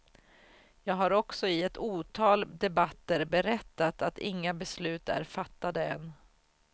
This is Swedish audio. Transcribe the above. Jag har också i ett otal debatter berättat att inga beslut är fattade än.